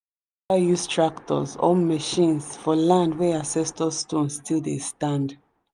we no dey ever use tractors or machines for land wey ancestor stone still dey stand.